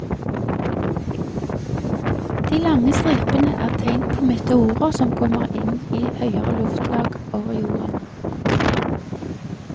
De lange stripene er tegn på meteorer som kommer inn i høyere luftlag over jorden.